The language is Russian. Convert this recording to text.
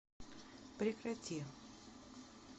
прекрати